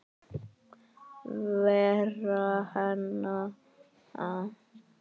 Vera heima.